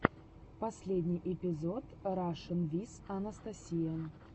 последний эпизод рашн виз анастасия